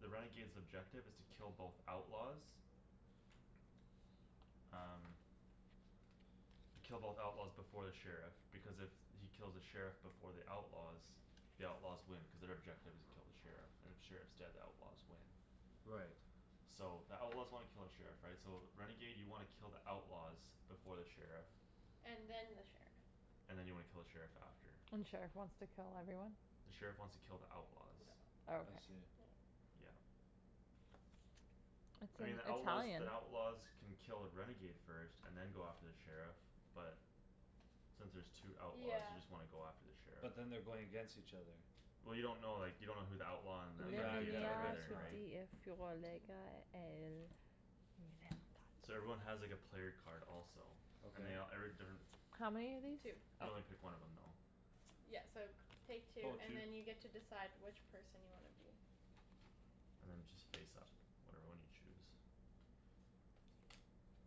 the renegade's objective is to kill both outlaws Um Kill both outlaws before the sheriff, because if he kills the sheriff before the outlaws The outlaws win cuz their objective is kill the sheriff. And if sheriff's dead, the outlaws win. Right. So the outlaws wanna kill the sheriff, right? So renegade you wanna kill the outlaws. Before the sheriff And then the sheriff. And then you wanna kill the sheriff after. And the sheriff wants to kill everyone? The sheriff wants to kill the outlaws. I Okay. see. Yeah. It's I mean, in the outlaws, Italian. the outlaws Can kill a renegade first and then go after the sheriff but Since there's two outlaws Yeah. you just wanna go after the sheriff. But then they're going against each other. Well, you don't know, like, you don't know who the outlaw and the Yeah, I gue- renegades I are guess either, not. right? Two. So everyone has, like, a player card also. And Okay. they all, every different How many of these? Two. You only pick one of them though. Yeah, so g- take two Oh, and two. then you decide which person you wanna be. And then just face up whatever one you choose.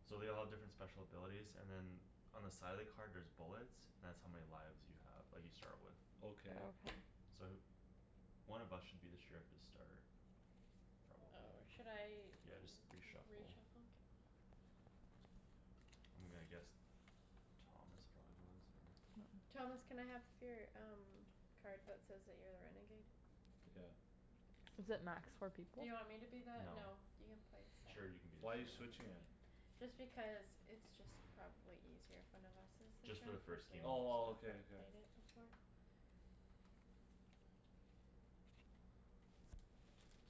So they all have different special abilities and then On the side of the card there's bullets. That's how many lives you have that you start with. Okay. Okay. So th- One of us should be the sheriff to start. Probably. Oh, should I Yeah, just re-shuffle. re-shuffle? I'm gonna guess Thomas probably was or Thomas, can I have your um card that says that you're a renegade? Took out. Is it max four people? Do you want me to be that? No. No, you can play Sure, seven. you can be the Why you sheriff. switching it? Just because it's just probably easier. If one of us is the Just for the sheriff versus first game. Oh, well, okay, okay. played it before.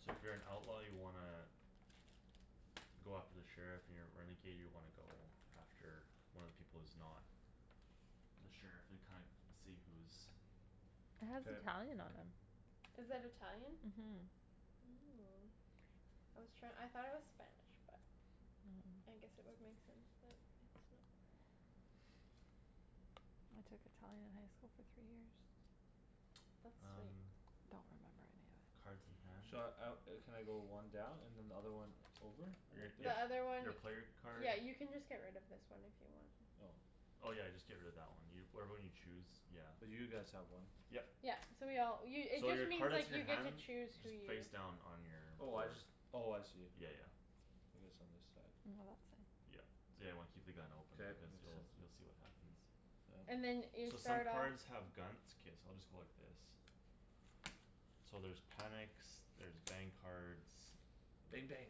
So if you're an outlaw you wanna Go after the sheriff, you're a renegade, you wanna go after one of the people who's not The sheriff and kind- see who's It has K. Italian on 'em. Is that Italian? Mhm. Oh, I was try- I thought it was Spanish, but I guess it would make sense that it's not. I took Italian in high school for three years. That's sweet. Um Don't remember any of it. Cards in hand. Should I out, uh can I go one down and another one over? Your, Th- Like this? the your, other one your player card. Yeah, you can just get rid of this one if you want. Oh. Oh, yeah, just get rid of that one. Whatever one you choose, yeah. Cuz you guys have one. Yep. Yeah, so we all, you it So just your card means, is in like, your you get to hand. choose who Just you face down on your Oh, I board. just, oh, I see. Yeah, yeah. It is on this side. Yeah, yeah, you wanna keep the gun open K, it because makes you'll, sense. you'll see what happens. Yeah. And then you So some start off cards have guns, it's okay, so I'll just go like this. So there's panics, there's bang cards Bang bang.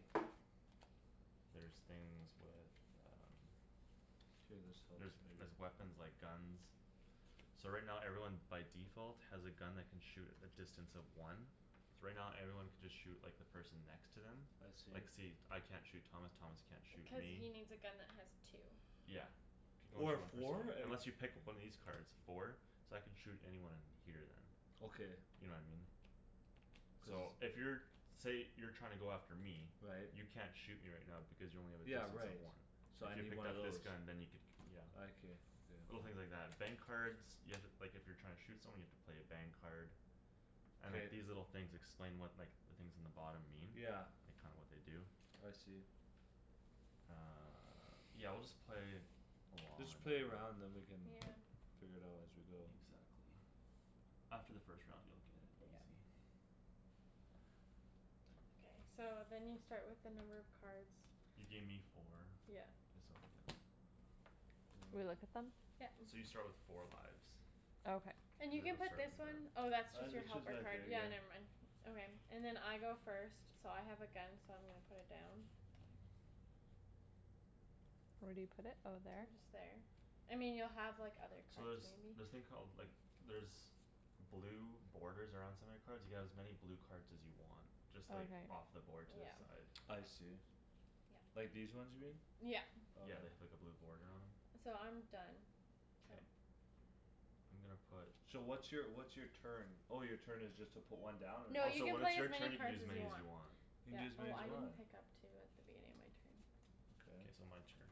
There's things with um K, this helps There's, maybe. there's weapons, like, guns. So right now everyone by default has a gun that can shoot at a distance of one. So right now everyone can just shoot, like, the person next to them. I Like, see. see, I can't shoot Thomas, Thomas can't shoot Cuz me. he needs a gun that has two. Yeah. You can only Or a shoot one person with four? it, Like unless you pick up one of these cards. Four? So I can shoot anyone here then. Okay. You know what I mean? So So if you're, say you're trying to go after me. Right. You can't shoot me right now because you only have a Yeah, distance of right, one. so So I if you need picked one of up this those. gun then you could, yeah. I can, okay. Little things like that. Bang cards You have to, like, if you're trying to shoot someone you have to play a bang card. And, K. like, these little things explain what, like The things in the bottom mean. Yeah. Like, kinda what they do. I see. Uh, yeah, we'll just play along Just and then play a round then we can Yeah. Yeah. figure it out as we go. Exactly. After the first round you'll get it, Yeah. easy. K, so then you start with the number of cards You gave me four. Yeah. This'll do. Do we look at them? Yeah. So you start with four lives. Okay. And you You can guys'll put start this one on that. Oh, that's just Uh your it's just helper right card, there, yeah, yeah. never mind. Okay, and then I go first So I have a gun, so I'm gonna put it down. Where do you put it? Oh, there? And just there. I mean, you'll have, like, other So cards, there's maybe. this thing called, like, there's Blue borders around some of your cards. You can have as many blue cards as you want. Just like Okay. off the board to the Yeah. side. I see. Yeah. Like these ones here? Yeah. Okay. Yeah, they have, like, a blue boarder on 'em. So I'm done, so K. I'm gonna put So what's your, what's your turn? Oh, your turn is just to put one down? Or No, Oh, you so can when it's play as your many turn you can cards use as as you many as want. you want. You can Yeah. do as many Oh, as I you didn't want? Yeah. pick up two at the beginning of my turn. K, so Okay. my turn.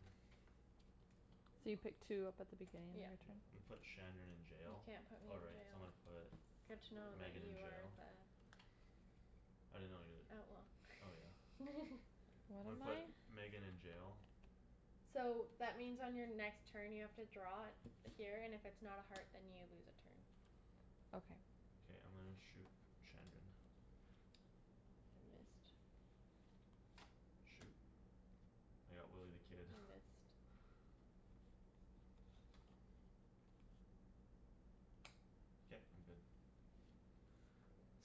So you pick two up at the beginning of your Yep. Yeah. turn? I'mma put Shandryn in You jail. can't put Oh, me in right, so I'm jail. gonna put Good to know that Megan in you are jail. the I didn't know you're Oh, the, oh, yeah. well. I'm What gonna am put I? Megan in jail. So that means on your next turn you have to draw Here and if it's not a heart then you lose a turn. Okay. K, I'm gonna shoot Shandryn. You missed. Shoot, I got Willy the Kid. You missed. K, I'm good.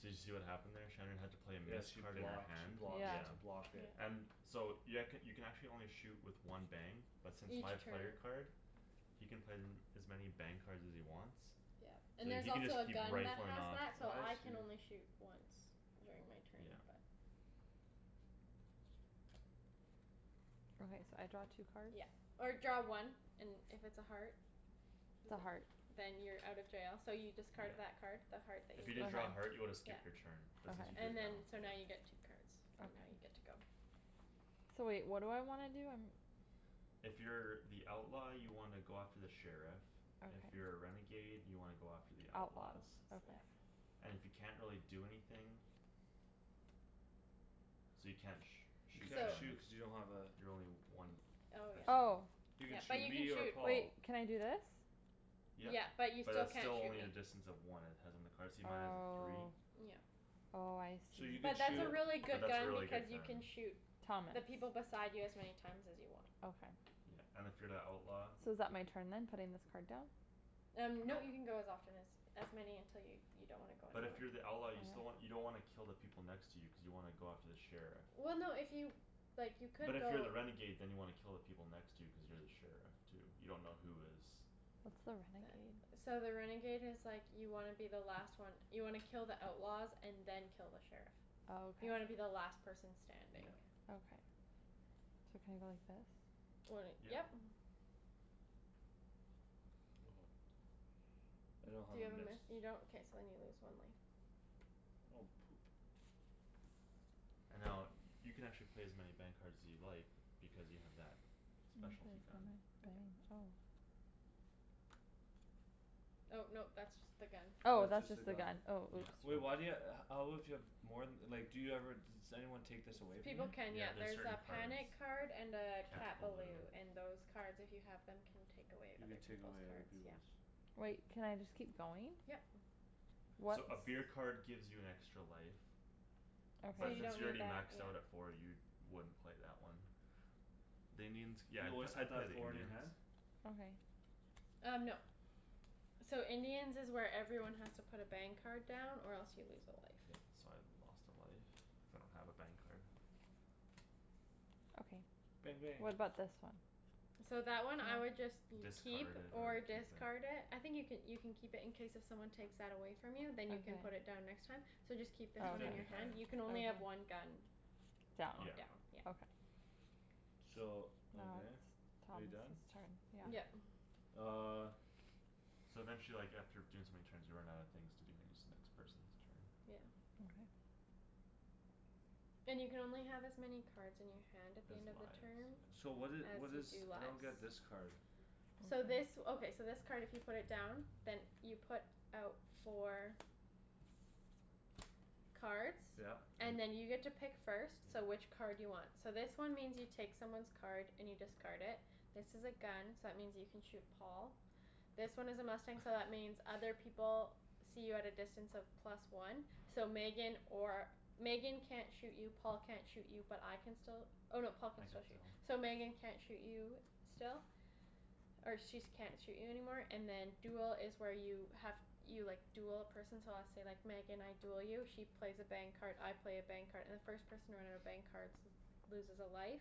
So did you see what happened there? Shandryn had to play a Yeah, miss she card in her blocked, she hand, blocked, yeah. she Yeah. blocked it. Yeah. And so you, I could, you can actually only shoot with one bang But since Each my player turn. card He can play them as many bang cards as he wants. Yeah. So And there's he can just also a keep gun that rifling has off. that so I I can see. only shoot once during my turn Yeah. but Okay, so I draw two cards? Yeah, or draw one. And if it's a heart It's a heart. Then you're out of jail, so you discard Yeah. that Card. the heart that If you you didn't just. draw a heart you would've yeah. skipped your turn, but since you Okay. drew it And now, then yeah. so now you get two cards and now you're Okay. good to go. So wait, what do I wanna do? I'm If you're the outlaw you wanna go after the sheriff. If Okay. you're a renegade you wanna go after the The outlaws. outlaws, Oops, yeah. okay. And if you can't really do anything So you can't sh- You shoot can't So Shan. shoot cuz you don't have a You're only one Oh distance. Oh. yeah, You yeah, could but shoot you can me or shoot. Paul. Wait, can I do this? Yep, Yeah, but you but still that's can't still shoot only me. a distance of one. It has on the card. See, mine has a three? Oh. Yeah. Oh, I So see. you But could Yeah, but that's a shoot really good that's a gun really because good you can gun. shoot Thomas. The people beside you as many times as you want. Okay. Yeah, and if you're the outlaw So is that my turn then? Putting this card down? Um nope, you can go as often as As many until you, you don't wanna go But anymore. if you're the outlaw you still wan- you don't wanna kill the people next to you cuz you wanna go after the sheriff. Well, no if you, like, you But could if you're go the renegade then you wanna kill the people next to you cuz you're the sheriff too. You dunno who is What's the That, renegade? so the renegade is like You wanna be the last one. You wanna kill the outlaws and then kill the sheriff. Oh, okay. You wanna be the last person Yeah. standing. Okay. So can I go like this? When it, Yep. yep. I don't have Do you a have a miss. miss? You don't? K, so then you lose one life. Oh, poop. And now, uh, you can actually play as many bang cards as you like Because you have that Bang, specialty gun. go. Oh no, that's just the gun. Oh, That's that's just the just the gun. gun, oh, Yeah, oops. Wait, no. why do you ha- how would you have More th- like, do you ever just Anyone take this away from you? People can, Yeah, yeah, there's there's certain a cards. panic card and a Cat Cat balou. balou and those cards if you have Them can take away You other can take peoples' away other cards, yeah. peoples'. Wait, can I just keep going? Yep. What's So a beer card gives you an extra life. Okay. So But you since don't you're need already that, maxed yeah. out at four you wouldn't play that one. The Indians, yeah, You I'd p- always have I'd to have play the four in your Indians. hand? Okay. Um, no. So Indians is where everyone has to put a bang card down or else you lose a life. Yeah, so I lost a life cuz I don't have a bang card. Bang Okay, bang. what about this one? So that one I would just You'd keep Discard it or or use it. discard it. I think you could, you can keep it in case if someone takes that away From you then you can put Okay. it down next time. So just keep Oh, this Keep one that in in your your okay. hand. hand; you can only have one gun. Down. On Yeah. down, yeah. Okay. So, Now okay, it's are you done? Thomas's turn, yeah. Yeah. Yep. Uh. So then she, like, after doing so many turns you run out of things to do and then it's the next person's turn. Yeah. Okay. And you can only have as many cards in your hand at the Has end of the lives, turn so. So what did, As what you is, do I don't lives. get this card. So this, okay, so this card if you put it down Then you put out four Cards Yeah. And then you get to pick first, so which card do you want? So this one means you take someone's card and you discard it. This is a gun so that means you can shoot Paul. This one is a mustang so that means other people See you at a distance of plus one. So Megan or, Megan can't shoot you Paul can't shoot you but I can still Oh no, Paul can I can still shoot, still. so Megan can't shoot you still Or she's can't shoot you anymore and then duel is where you have You, like, duel a person so let's say, like, Megan I Duel you she plays a bang card, I play a bang card and the first person to run out of bang cards Loses a life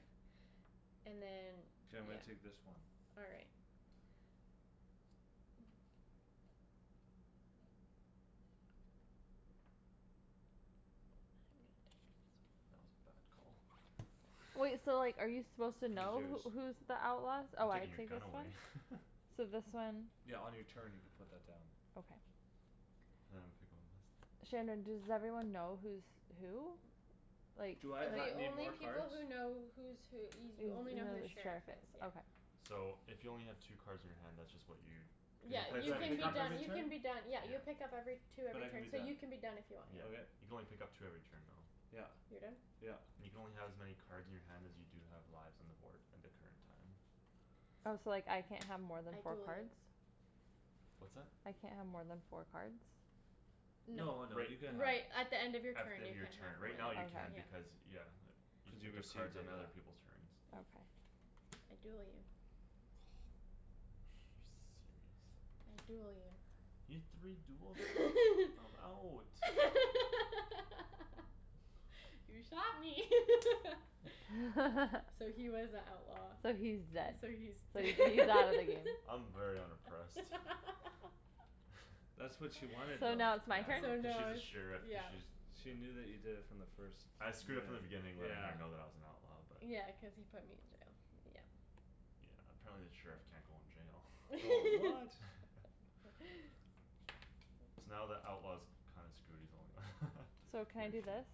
And then, K, I'm yeah. gonna take this one. All right. That was a bad Wait, call. so like are you supposed to Who's know yours? who, who's The outlaws? I'm Oh, I taking your take gun this one? away. So this one Yeah, on your turn you could put that down. Okay. Now I'm gonna pick one Shandryn, does everyone know who's who? Like, Do I ha- like The need only more people cards? who know who's who y- You you only know know who the the sheriff sheriff is, is, yeah. okay. So if you only have two cards in your hand that's just what you Cuz you Yeah. And play uh it do You so I many can pick be up turns every done, you can turn? be done. Yeah, Yeah. you pick up every Two But every I can be turn so you done. can be done if you want, yeah. Yeah, Okay. you can only pick up two every turn though. Yep, You're done? yep. You can only have as many cards in your hand as you do have lives on the board end of turn time. Oh, so, like, I can't have more than I four duel you. cards? What's that? I can't have more than four cards? Y- No. No, no, you can Right have Right, at the end of your At the turn end you of your can't have turn. more Right now than, you can yeah. Okay. because, yeah. You can Cuz you pick up received cards on it, other yeah. people's turns. Mm. Okay. I duel you. You serious? I duel you. You had three duels there? I'm out. You shot me. So he was a outlaw. So he's dead. So he's So d- he, he's out of the game. I'm very unimpressed. That's what she wanted So though. now Yeah, it's my I So know, turn? cuz now she's a it's, sheriff, cuz yeah. she's, yeah. She knew that you did it from the first I screwed up from the minute. beginning letting her Yeah. know that I was an outlaw but Yeah, cuz he put me in jail, yeah. Yeah, apparently the sheriff can't go in Oh, jail. what? So now the outlaw's kinda screwed; he's the only one, So can he I or do she. this?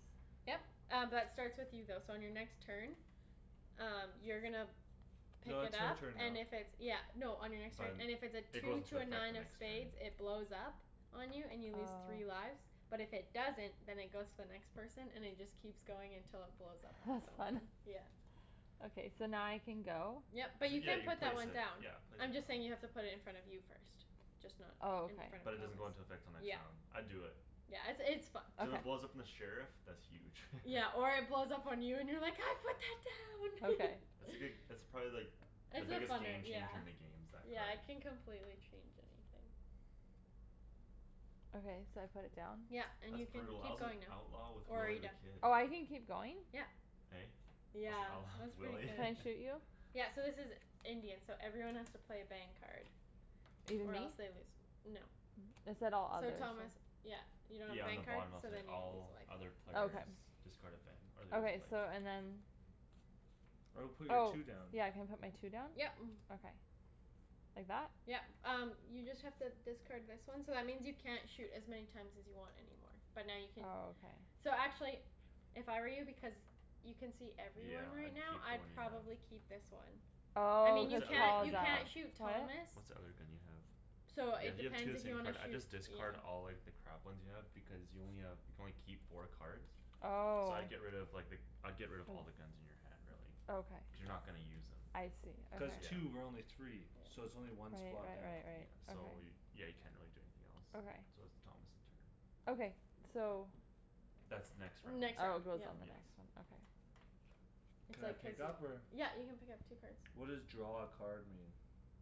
Yep. Um b- that starts with you though so on your next turn Um you're gonna No, pick it it's her up turn now. and if it's, yeah No, on your next So turn, then and if it's a it two goes into to a effect nine the of next turn. spades it blows up On you and you lose three Oh. lives. But if it doesn't, then it goes to the next person and it just Keeps going until it blows up on That's fun. someone, yeah. So now I can go? Yep, but you Yeah, can you put that place one it. down. Yeah, place it I'm just saying you have down. to put it in front of you first. Just not Oh, in okay. front But of it doesn't Thomas. go into effect till next Yep round. I'd do it. Yeah, it's, it's fun. Cuz if it Okay. blows up on the sheriff, that's huge. Yeah, or it blows up on you and you're like, "I put that Okay. It's down!" a good, it's probably like The It's a biggest funner, game changer yeah, in the games, that yeah, it card. can complete change anything. Okay, so I put it down? Yep. And That's you can brutal. I keep was an going now. outlaw with Or are Willy you the done? Kid. Oh, I can keep going? Yeah. Hey? I was an Yeah, outlaw with that's pretty Willy? Can good. I shoot you? Yeah, so this is Indian, so everyone has to play a bang card. Even Or me? else they lose, no. It said all So others. Thomas, yeah, you don't have a Yeah, on bang the card? bottom it'll So say, then you lose "All a life. other players Okay. Discard a bang or lose a Okay, so and life." then I would put your Oh, two down. yeah, can I put my two down? Yep. Okay. Like that? Yep. Um you just have to discard this one So that means you can't shoot as many times as you want anymore, but now you can Oh, okay. So actually if I were you, because You can see Yeah, everyone right I'd now, keep the I'd one you have. probably keep this one. I Oh, mean, What's you cuz the other can't, you thing you Paul's can't have? out. shoot Thomas What's the other thing you have? So Yeah, it you have two depends of the if you same wanna card. I'd shoot, just you know. discard all, like, the crap ones you have because you only have, you can only keep four cards. So Oh. I'd get rid of, like, the, I'd get rid of all the guns in your hand, really. Okay. Cuz you're not gonna use them. I see, okay. Cuz Yeah. two. We're only three. So it's only one Right, spot right, down. right, Yeah, right. so Okay. y- yeah, you can't really do anything else. Okay. So it's Thomas' turn. Okay, so That's next round. Oh, it Next round, goes yep. on the Yes. next one, okay. It's Can I like pick up or? yep, you can pick up two cards. What does draw a card mean?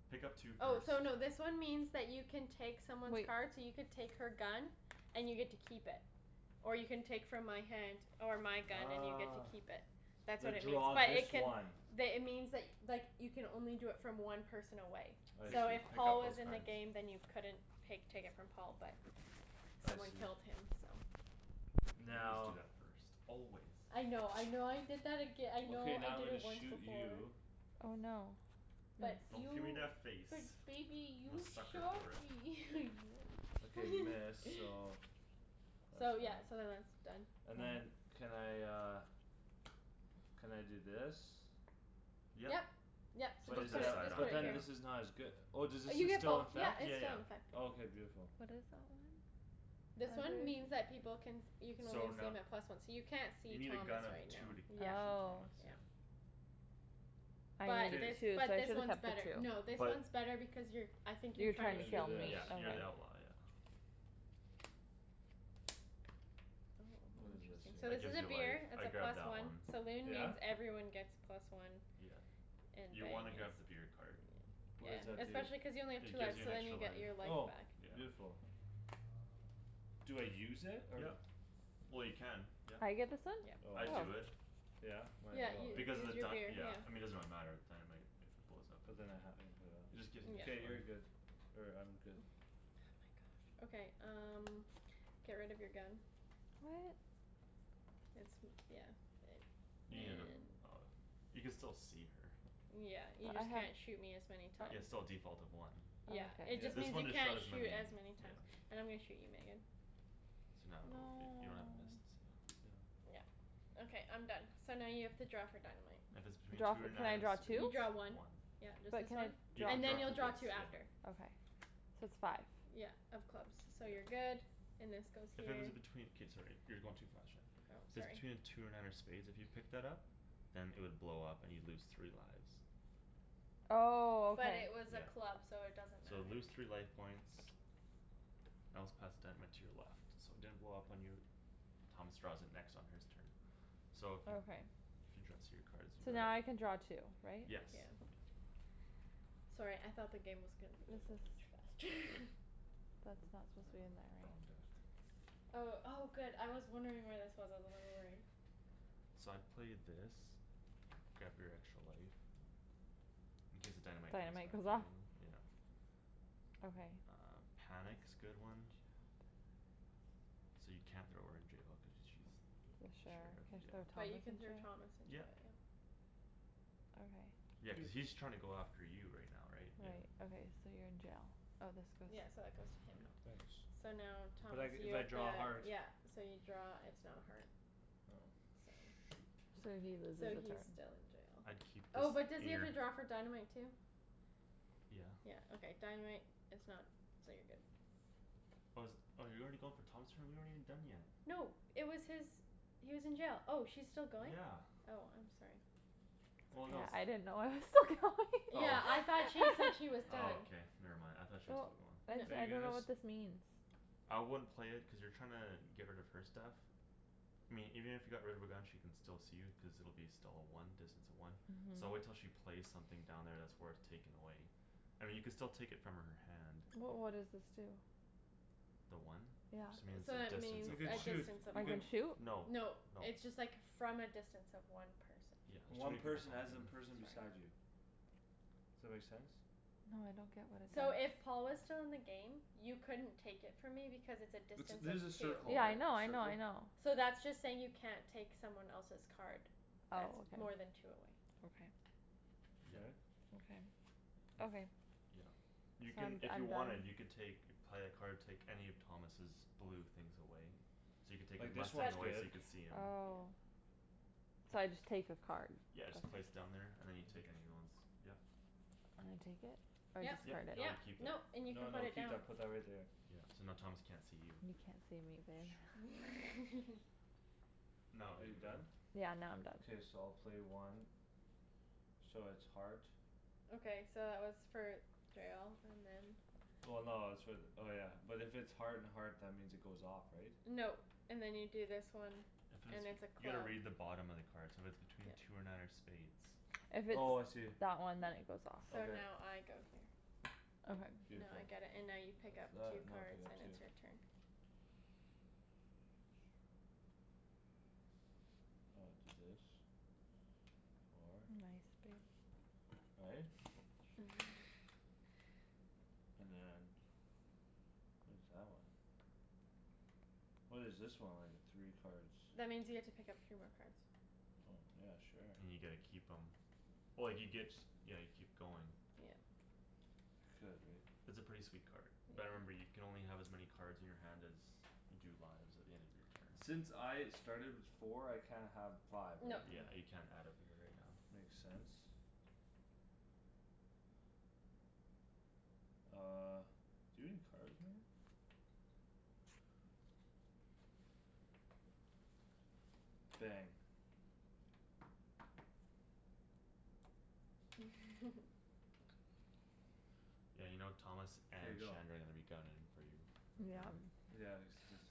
Pick up two Oh, cards. so no, this one means that you can take someone's Wait. card so you could take her gun And you get to keep it or you can take from my hand Or my gun and you get to keep it. That's The, what it means draw but it this can one. The, it means, like, like you can only do it from one person away. I Pick, So see. if pick Paul up was those in the cards. game then you couldn't pake, take it from Paul but I Someone see. killed him, so. You always do Now that first. Always. I know, I know I did that aga- I know Okay, I now I'm did gonna it once shoot before. you. Oh, no. Nice. But Don't give me you, that face. but baby, I'm a you sucker shot for it. me Okay, you. miss, so that's So fine. yeah, so then that's done. And then can I uh Can I do this? Yep. Yep, so Just But put just it is to put the it, side that, just on, put but it then here. yeah. this is not as good Oh, does Uh this is you st- get still both; in - yep, fect? it's Yeah, still yeah. in effect. Oh, k, beautiful. What is that one? This one means that people can You can only So see no- 'em at plus one. So you can't You see need a gun Thomas of right two now. to Yeah, shoot Oh. Thomas, yeah. yeah. I But K. this, needed two so I but this should have one's kept better. No, the two. this But one's better because you're I think you're You're I'm trying trying to gonna to do shoot kill this. me. me, Yeah, you're okay. the outlaw, yeah. What is this Oh, interesting. So That this here? is gives a you life, beer, it's a I'd grab plus that one. one. Saloon Yeah? means everyone gets plus one. Yeah. And You wanna bang grab the is beer card. Yeah, What does that do? especially cuz you only have two It gives lives you so an then extra you life. get your life Oh, back. Yeah. beautiful. Do I use it or? Yep. Well, you can, yep. I get this one? Yep. Oh I I'd Oh. see. do it. Yeah? Might Yeah, as well, you, right? Because of this the is your beer, dy- yeah yeah. I mean, it doesn't really matter, the dynamite If it blows up in But then there. I have emporio. It just gives an Yeah. extra K, you're life. good. Or I'm good. Okay, um get rid of your gun. What? It's m- yeah. You need a, And oh, you can still see her. Yeah, you But I just have can't shoot me as many Yeah, times. it's still a default of one. Yeah, Okay. it Yeah. just This means one you just shot can't as shoot many, as many times. yeah. And I'm gonna shoot you, Megan. So now it'll be, you don't have a miss, No. so. Yeah, okay I'm done. So now you have to draw for dynamite. If it's between Draw two fo- or can nine I draw of You two? spades. draw one. One. Yep, just But this can I one. You have draw And then you'll to draw draw for two this after. Okay, so it's five. Yeah, of clubs, so you're Yep. good. And this goes If here. it was between, k, sorry, you're going too fast, Shan. Oh, So sorry. between two or nine of spades, if you picked that up Then it would blow up and you'd lose three lives. Oh, But okay. it was a Yeah. club, so it doesn't So matter. lose three life points Else pass dynamite to your left. So it didn't blow up on you. Thomas draws it next on his turn. So if you, Okay. if you draw So now I can draw two, right? K. Yes. Yeah. Sorry, I thought the game was gonna be This over is much faster. That's I not supposed to be dunno, in there, wrong right? deck. Oh, oh, good I was wondering where this was; I was a little worried. So I'd play this. Grab your extra life. In case the dynamite comes Dynamite back goes the other off? way, yeah. Okay. Uh, panic's good one. So you can't throw her in jail because she's Sure, Sheriff, can I throw yeah. But you can throw Thomas Thomas in jail? in Yep. jail, yeah. Okay. Yeah, cuz Cuz he's trying to go after you right now, right? Yeah. Right, okay. So you're in jail. Oh, this Yeah, goes so that goes to him. Yeah. Thanks. So now, But Thomas I, you if I have to, draw a heart yeah. So you draw, it's not a heart. Oh. So Shoot. So he loses So a he's turn. still in jail. I'd keep this Oh, but does he in have your to draw for dynamite too? Yeah. Yeah, okay, dynamite is not, so you're good. Oh, is it, oh, you're already going for Thomas' turn? We aren't even done yet. No, it was his He was in jail; oh, she's still going? Yeah. Oh, I'm sorry. Well, no I didn't it's know I was still going. Oh. Yeah, I thought she said he was Oh, done. okay, never mind, I thought she was Well. still going. Are I, I you dunno guys what this means. I wouldn't play it cuz you're trying to get rid of her stuff. I mean, even if you got rid of her gun she can still see you cuz it'll be still a one, distance of one. So Mhm. wait till she plays something down there that's worth taking away. I mean, you could still take it from her hand. But what does this do? The one? It just Yeah. means So a that distance means You of could a one. shoot. distance of You I one. can can shoot? No, no. No, it's just, like, from a distance of one person. Yeah, there's too One many people person talking. as in Sorry. person beside you. That make sense? No, I don't get what it So does. if Paul was still in the game You couldn't take it from me because it's a It's, distance this is a of two. circle Yeah, I right? know, I know, I Circle? know. So that's just saying you can't take someone else's card That's Oh, more than okay. two away. Okay. Yeah. K. Okay. Okay. Yeah. So You can, I'm d- if you I'm wanted done. you can take You'd play a card, take any of Thomas's blue things away. So you could take his Like this mustang But one's away so good. you could see him. Oh. So I just take the card. Yeah, Okay. just place it down there and then you take any other ones. Yeah. Can I take it? Or I Yep, Yep, discard it? no you yep, keep it. nope, and you can No, put no, it keep down. that put that right there. Yeah, so now Thomas can't see you. You can't see me, babe. No, Are you you can go. done? Yeah, now I'm done. K, so I'll play one. So it's heart. Okay, so that was for jail and then Well, no, it's for the, oh, yeah, but if it's Heart and heart, that means it goes off, right? No. And then you do this one If And it's, it's a you gotta club. read the bottom of the card. So if it's between two or nine or spades If it's Oh, I see. that one then it goes off. So Okay. now I go here. Okay. Now I Beautiful. get it and now you pick That's up that, two now I pick cards up and two. it's your turn. I'll do this. Four. Nice babe. Right? And then What is that one? What is this one? Like the three cards. That means you get to pick up three more cards. Oh, yeah, sure. And you get to keep 'em Oh, you get, yeah, you keep going. Yeah. Could, right? It's a pretty sweet card. Yeah. But remember you can only have as many Cards in your hand as you do lives At the end of your turns. Since I started with four I can't have five, right? No. Yeah, you can't add a beer right now. Makes sense. Uh, do you have any cards, Megan? Bang. Yeah, you know, Thomas K, and go. Shandryn are gonna be gunnin' for you right now. Yeah, Oh except